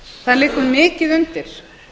það liggur mikið undir